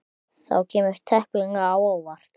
Það kemur tæplega á óvart.